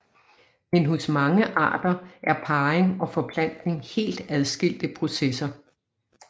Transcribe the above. Men hos mange arter er parring og forplantning helt adskilte processer